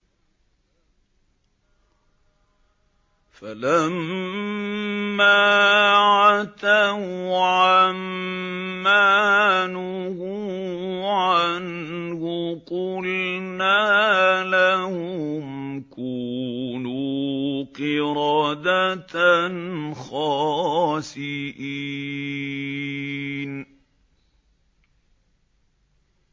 فَلَمَّا عَتَوْا عَن مَّا نُهُوا عَنْهُ قُلْنَا لَهُمْ كُونُوا قِرَدَةً خَاسِئِينَ